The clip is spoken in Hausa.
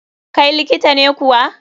kai likita ne kuwa?